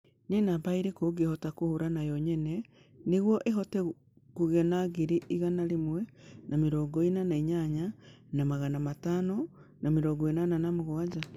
Nĩ namba ĩrĩkũ ũngĩhota kũhura na yo nyene nĩguo ũhote kũgĩa na ngiri igana rĩmwe na mĩrongo ĩna na inyanya na magana matano na mĩrongo ĩnana na mũgwanja